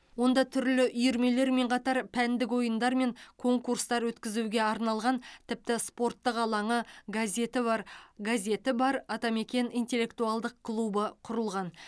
онда түрлі үйірмелермен қатар пәндік ойындар мен конкурстар өткізуге арналған тіпті спорттық алаңы газеті бар газеті бар атамекен интеллектуалдық клубы құрылған